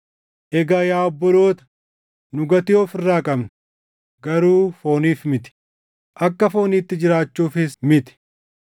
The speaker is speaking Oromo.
Egaa yaa obboloota, nu gatii of irraa qabna; garuu fooniif miti; akka fooniitti jiraachuufis miti.